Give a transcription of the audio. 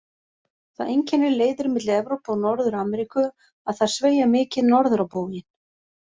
Það einkennir leiðir milli Evrópu og Norður-Ameríku að þær sveigja mikið norður á bóginn.